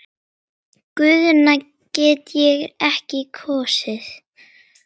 Guðna get ég ekki kosið.